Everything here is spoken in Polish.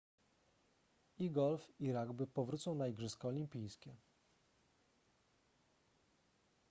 i golf i rugby powrócą na igrzyska olimpijskie